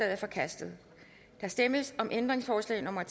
er forkastet der stemmes om ændringsforslag nummer